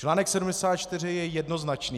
Článek 74 je jednoznačný.